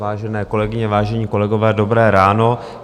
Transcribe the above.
Vážené kolegyně, vážení kolegové, dobré ráno.